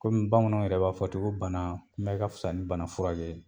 Kɔmi bamananw yɛrɛ b'a fɔ ten ko banakunbɛ ka fisa ni banafurakɛ ye.